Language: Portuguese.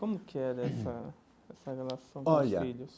Como que era essa essa relação olha com os filhos?